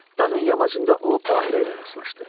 Dağın yamacında o Baqira ilə rastlaşdı.